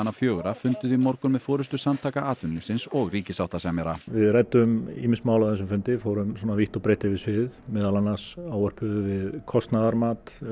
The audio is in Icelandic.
fjögurra funduðu í morgun með forystu Samtaka atvinnulífsins og ríkissáttasemjara við ræddum ýmis mál á þessum fundi fórum vítt og breitt yfir sviðið meðal annars ávörpuðum við kostnaðarmat